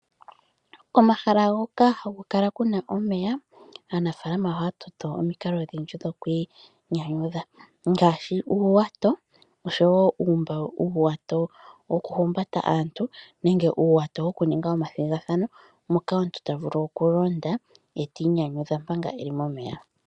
Komahala hoka haku kala ku na omeya, aanafaalama ohaya toto omikalo odhindji dhoku inyudha. Ngaashi uuwato, oshowo uuwato wokuhumbata aantu nenge uuwato wokuninga omathigathano, moka omuntu ta vulu okulonda e ta inyanyudha manga e li momeya.